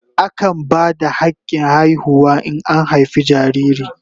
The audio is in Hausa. Akan ba da hakin haihuwa in an haife jariri.